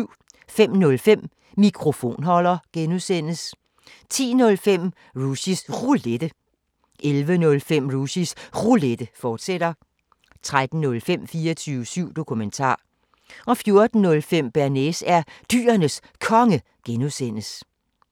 05:05: Mikrofonholder (G) 10:05: Rushys Roulette 11:05: Rushys Roulette, fortsat 13:05: 24syv Dokumentar 14:05: Bearnaise er Dyrenes Konge (G)